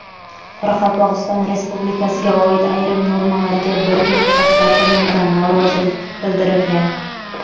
Qoraqalpogʼiston Respublikasiga oid ayrim normalarga bir guruh shaxslar tomonidan norozilik bildirilgan.